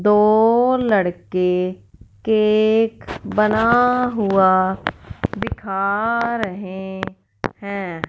दो लड़के केक बना हुआ दिखा रहे हैं।